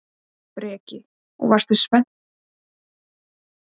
Breki: Og varstu spenntur yfir leiknum í gær?